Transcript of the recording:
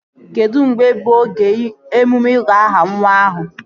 Kedụ mgbe bụ oge emume ịgụ aha nwa ahụ?